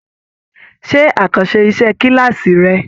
Ṣe àkànṣe iṣẹ kilaasi rẹ!